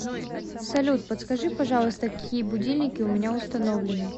салют подскажи пожалуйста какие будильники у меня установлены